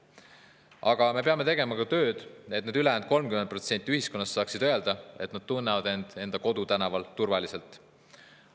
Aga me peame tegema tööd, et ka see 30% ühiskonnast saaks öelda, et nad tunnevad end kodutänaval turvaliselt.